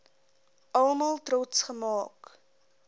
almal trots gemaak